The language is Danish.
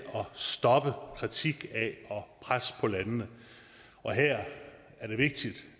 stoppe kritik af og pres på landene her er det vigtigt